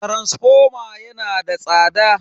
taransifoma yana da tsada.